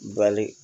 Bali